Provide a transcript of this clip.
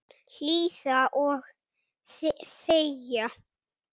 Hlýða og þegja.